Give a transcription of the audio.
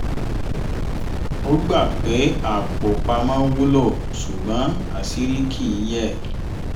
ó gbà pé apò pamọ́ wúlò ṣùgbọ́n àṣírí kì í yẹ